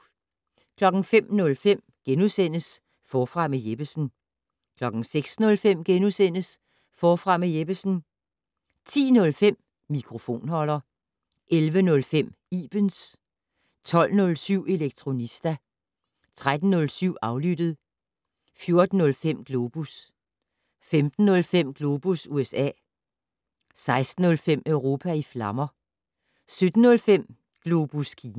05:05: Forfra med Jeppesen * 06:05: Forfra med Jeppesen * 10:05: Mikrofonholder 11:05: Ibens 12:07: Elektronista 13:05: Aflyttet 14:05: Globus 15:05: Globus USA 16:05: Europa i flammer 17:05: Globus Kina